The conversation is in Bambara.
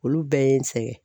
Olu bɛɛ ye n sɛgɛn.